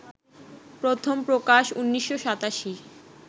প্রথম প্রকাশ ১৯৮৭